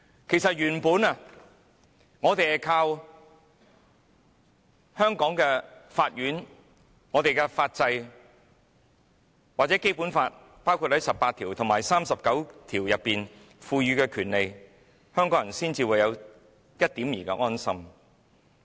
其實，香港人原本依靠香港法院和法制，又或《基本法》第十八條和第三十九條賦予的權利，才有一點兒的安心。